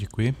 Děkuji.